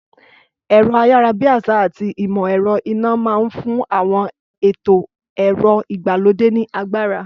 Ẹ̀rọ-ayárabíàsá àti ìmọ̀ ẹ̀rọ iná máa ń fún àwọn ètò ẹ̀rọ ìgbàlódé ní agbára.